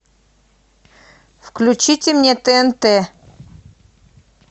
включите мне тнт